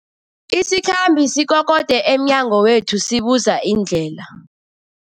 Isikhambi sikokode emnyango wethu sibuza indlela.